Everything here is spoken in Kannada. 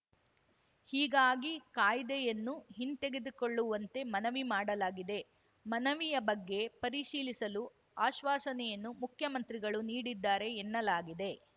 ಹೀಗಾಗಿ ಕಾಯ್ದೆಯನ್ನು ಹಿಂತೆಗೆದುಕೊಳ್ಳುವಂತೆ ಮನವಿ ಮಾಡಲಾಗಿದೆ ಮನವಿಯ ಬಗ್ಗೆ ಪರಿಶೀಲಿಸಲು ಆಶ್ವಾಸನೆಯನ್ನು ಮುಖ್ಯಮಂತ್ರಿಗಳು ನೀಡಿದ್ದಾರೆ ಎನ್ನಲಾಗಿದೆ